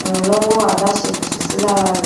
ìrànlọwọ àdáṣe kò sì sí lára rẹ